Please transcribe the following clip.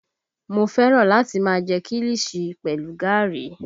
Mo fẹ́ràn láti máa jẹ kiliṣi pẹlu gaàrí